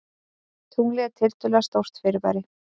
Tunglið er tiltölulega stórt fyrirbæri.